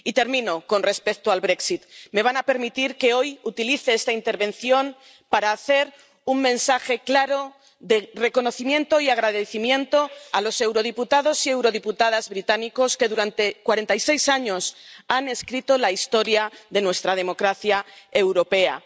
Y, termino, con respecto al Brexit me van a permitir que hoy utilice esta intervención para transmitir un mensaje claro de reconocimiento y agradecimiento a los eurodiputados y eurodiputadas británicos que durante 46 años han escrito la historia de nuestra democracia europea.